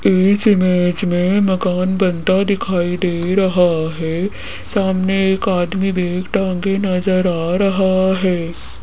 इस इमेज में मकान बनता दिखाई दे रहा हैं सामने एक आदमी बैग टांगे नजर आ रहा हैं।